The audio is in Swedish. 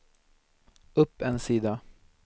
upp en sida